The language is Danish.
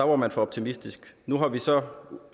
var man for optimistisk nu har vi så